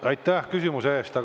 Aitäh küsimuse eest!